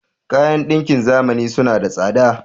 Kayan ɗakin zamani suna da tsada.